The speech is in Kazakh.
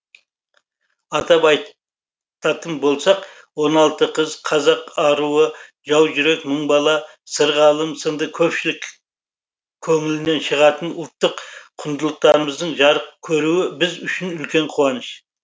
атап ай татын болсақ он алты қыз қазақ аруы жау жүрек мың бала сырғалым сынды көпшілік көңілінен шығатын ұлттық құндылықтарымыздың жарық көруі біз үшін үлкен қуаныш